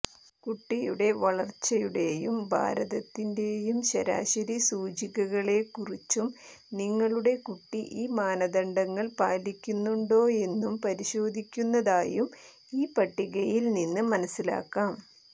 കുട്ടിയുടെ വളർച്ചയുടെയും ഭാരത്തിന്റെയും ശരാശരി സൂചകങ്ങളെക്കുറിച്ചും നിങ്ങളുടെ കുട്ടി ഈ മാനദണ്ഡങ്ങൾ പാലിക്കുന്നുണ്ടോയെന്നും പരിശോധിക്കുന്നതായും ഈ പട്ടികയിൽ നിന്ന് മനസ്സിലാക്കാം